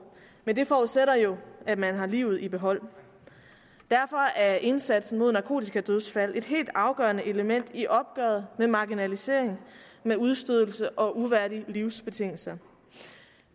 men det forudsætter jo at man har livet i behold derfor er indsatsen mod narkotikadødsfald et helt afgørende element i opgøret med marginalisering med udstødelse og uværdige livsbetingelser